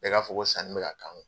Bɛɛ ka fɔ ko sanni bɛ ka k'an ŋ